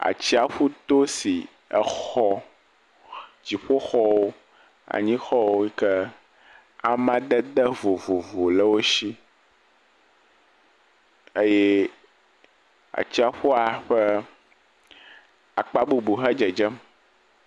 Atsiaƒuto si exɔ dziƒoxɔwo, anyixɔ yi ke amadede vovo le wo si eye atsiaƒua ƒe akpa bubu hã dzedzem.